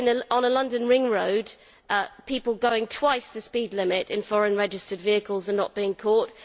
On a London ring road, people going twice the speed limit in foreign registered vehicles are not being caught